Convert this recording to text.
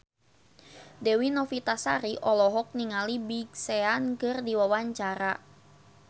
Dewi Novitasari olohok ningali Big Sean keur diwawancara